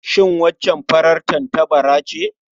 Shin waccan farar tattabara ce?